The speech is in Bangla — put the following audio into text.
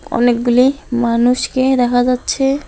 অনেকগুলি মানুষকে দেখা যাচ্ছে।